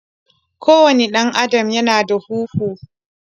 ko wane dan Adam Ya na da huhu.